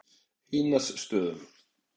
Einarsstöðum